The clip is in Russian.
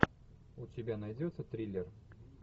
у тебя найдется триллер